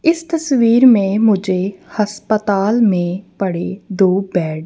इस तस्वीर में मुझे हस्पताल में पड़े दो बेड --